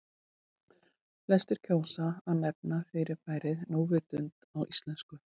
Flestir kjósa að nefna fyrirbærið núvitund á íslensku.